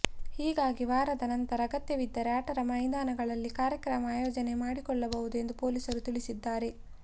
ಹೀಗಾಗಿ ವಾರದ ನಂತರ ಅಗತ್ಯವಿದ್ದರೆ ಆಟದ ಮೈದಾನಗಳಲ್ಲಿ ಕಾರ್ಯಕ್ರಮ ಆಯೋಜನೆ ಮಾಡಿಕೊಳ್ಳಬಹುದು ಎಂದು ಪೊಲೀಸರು ತಿಳಿಸಿದ್ದಾರೆ